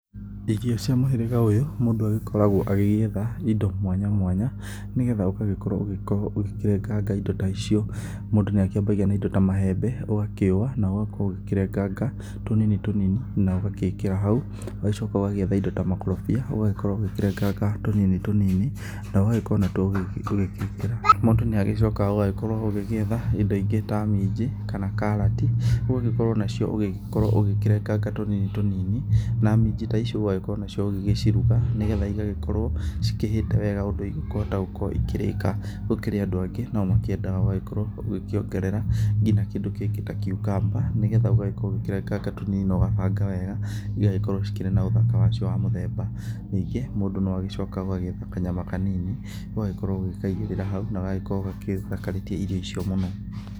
irio cia mũhĩrĩga ũyũ, mũndu agikoragwo agĩgĩetha indo mwanya mwanya nĩgetha ũgagĩkorwo ũgĩkĩrenganga indo ta icĩo, mũndu nĩakĩambagia na indo ta mahembe ũgakĩũwa na ũgakorwo ũgĩkĩrenganga tũnini tũnini na ũgagĩĩkira haũ, ũgacoka ũgagĩetha indo ta makorobia ũgagikorwo ukĩrenganga tũnini tũnini na ũgagikorwo natwo ũgĩtwĩkĩra, na mũndũ ni agĩcokaga ũgagĩkorwo ũgĩgĩetha ĩndo ĩngĩ ta minji kana karati, ũgagĩkorwo nacio ũgĩkorwo ũgĩkĩrenganga tũnini tũnini na minji ta icio ũgagĩkorwo nacĩo ũgĩgĩcĩrũga nĩgetha ĩgagĩkorwo cĩkĩhiĩte wega ũndũ ĩgũkĩhota gũkorwo ĩkĩrĩka, gũkĩrĩ andũ angĩ nao makĩendaga ũgagĩkorwo ũkĩongerera ngĩna kĩndũ kĩngĩ ta cucumber nĩgetha ũgagĩkorwo ũkirenganga tũnini na ũgabanga wega ĩgagĩkorwo cĩkĩri na ũthaka wacĩo wa mũthemba, nĩngĩ mũndũ no agĩcokaga ũgagĩetha kanyama ũgagĩkorwo ũgĩkaĩgĩrĩra haũ na gagagĩkorwo gagĩthakarĩtie irio icĩo mũno